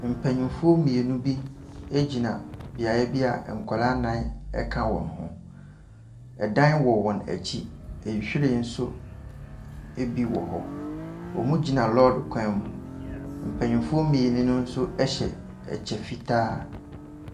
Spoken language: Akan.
Mpanimfoɔ mmienu bi gyina beaeɛ bi a nkwadaa nnan ka wɔn ho. Dan wɔ wɔn akyi. Nhwiren nso bi wɔ hɔ. Wɔgyina lɔre kwan mu. Mpanimfoɔ mmienu no nso hyɛ kyɛ fitaa.